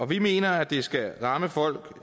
vi mener det skal ramme folk